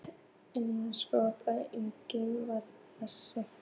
Eins gott að enginn varð þess var!